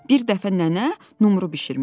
Bir dəfə nənə numru bişirmişdi.